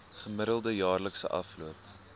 gemiddelde jaarlikse afloop